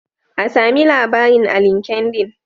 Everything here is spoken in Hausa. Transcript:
An sami labarin a linkendin.